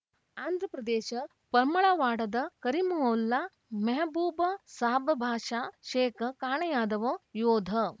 ಆಂಧ್ರಪ್ರದೇಶ ಪಮ್ಮಳವಾಡದ ಕರೀಮವುಲ್ಲಾ ಮೆಹಬೂಬಸಾಬಭಾಷಾ ಶೇಖ್ ಕಾಣೆಯಾದವ ಯೋಧ